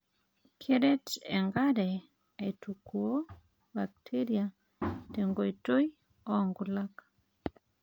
Keret enkare aitukuoo bakteria tenkoitoi oonkulak.